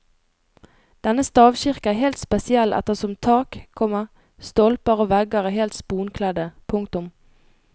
Denne stavkirke er helt spesiell ettersom tak, komma stolper og vegger er helt sponkledde. punktum